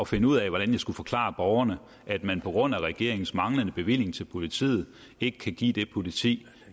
finde ud af hvordan jeg skulle forklare borgerne at man på grund af regeringens manglende bevilling til politiet ikke kan give det politi